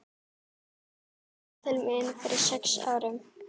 Pjatti kom til mín fyrir sex árum.